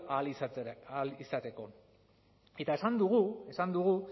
ahal izateko eta esan dugu esan dugu